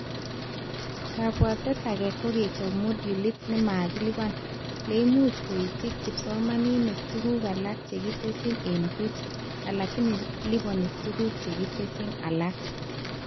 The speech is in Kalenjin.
Kabwatet ake kokechob modulit nemakilipan, lemuch koitich kiosomanink tuguk alak chekitesyi eng buch, alakini lipani tuguk chekitesyi alak